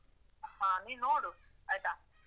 ಹ ನೀನ್ ನೋಡು, ಆಯ್ತಾ?